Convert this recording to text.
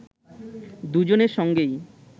দুজনের সঙ্গেই